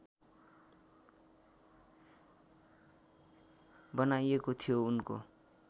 बनाइएको थियो उनको